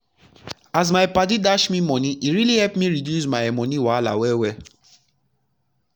as my as my padi dash me free money e really epp me reduce my moni wahala well well